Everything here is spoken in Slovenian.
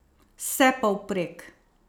Vsepovprek!